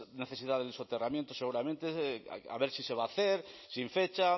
necesidad del soterramiento seguramente a ver si se va a hacer sin fecha